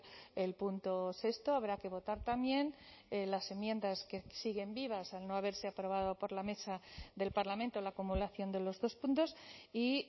el punto sexto habrá que votar también las enmiendas que siguen vivas al no haberse aprobado por la mesa del parlamento la acumulación de los dos puntos y